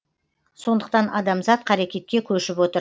сондықтан адамзат қарекетке көшіп отыр